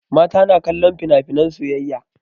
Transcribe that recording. Mata na kallon finafinan soyayya.